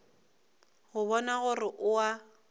go bona gore o a